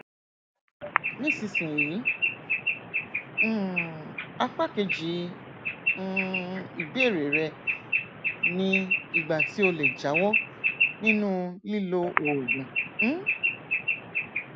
nísinsìnyí um apá kejì um ìbéèrè rẹ ni ìgbà tí o lè jáwọ nínú lílo oògùn um